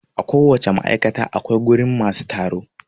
A ko wace ma'aikata akwai wurin masu tsaro